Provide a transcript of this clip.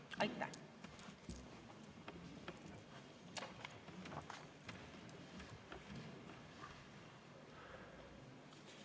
Aitäh!